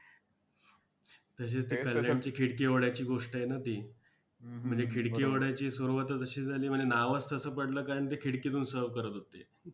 तसेच ते, कल्याणची खिडकी वड्याची गोष्ट आहे ना ती! म्हणजे खिडकी वड्याची सुरुवातच अशी झाली म्हणे नावच तसं पडलं, कारण ते खिडकीतून serve करत होते.